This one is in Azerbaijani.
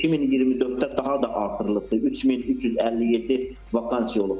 2024-də daha da artırılıbdır, 3357 vakansiya olubdur.